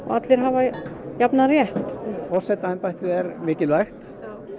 allir hafi jafnan rétt forsetaembættið er mikilvægt